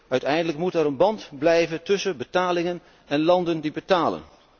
Uiteindelijk moet er een band blijven tussen betalingen en landen die betalen.